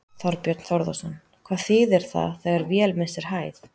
Þorbjörn Þórðarson: Hvað þýðir það þegar vél missir hæð?